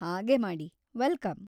ಹಾಗೇ ಮಾಡಿ, ವೆಲ್ಕಮ್.